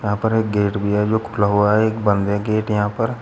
यहाँ पर एक गेट भी है जो खुला हुआ है। एक बंद है गेट यहां पर।